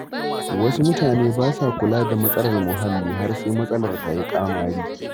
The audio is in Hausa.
Wasu mutane ba sa kula da matsalar muhalli har sai matsalar ta yi ƙamari.